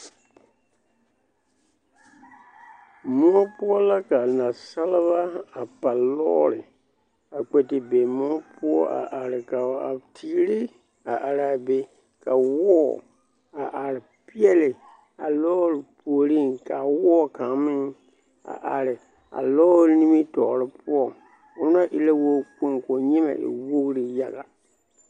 Moɔ poɔ la ka nasalba a pa lɔɔre a kpɛ te be moɔ poɔ a are ka a teere a are a be ka wɔɔ a are peɛle a lɔɔre puoriŋ k'a wɔɔ kaŋ meŋ a are a lɔɔre nimitɔɔre poɔ ona e la wɔɔ kpoŋ k'o nyemɛ e wogiri yaga.